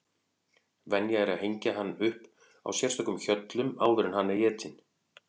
Venja er að hengja hann svo upp á sérstökum hjöllum áður en hann er étinn.